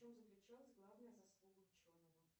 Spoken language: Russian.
в чем заключалась главная заслуга ученого